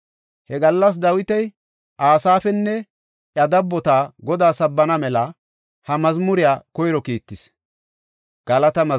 He gallas Dawiti Asaafinne iya dabboti Godaa sabbana mela ha mazmuriya koyro kiittis.